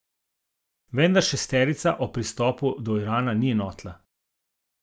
Vendar šesterica o pristopu do Irana ni enotna.